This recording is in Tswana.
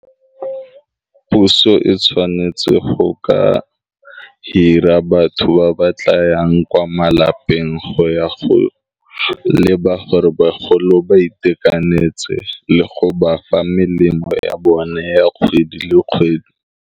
Puso e tshwanetse go ka hira batho ba ba tla yang kwa malapeng go ya go le ba gore bagolo ba itekanetse le go ba fa melemo ya bone ya kgwedi le kgwedi.